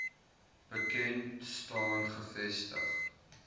bekend staan gevestig